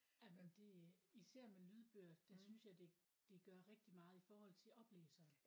Jamen det især med lydbøger der synes jeg det det gør rigtig meget i forhold til oplæseren